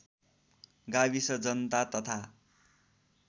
गाविस जनता तथा